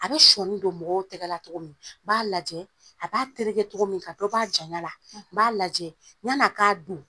A bɛ sɔɔni don mɔgɔw tɛgɛ la cogo min b'a lajɛ a b'a tereke cogo min ka dɔ b'a jaɲa la n b'a lajɛ ɲan'a k'a don